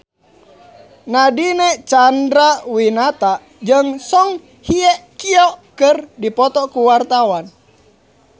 Nadine Chandrawinata jeung Song Hye Kyo keur dipoto ku wartawan